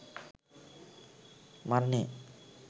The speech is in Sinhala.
මරණය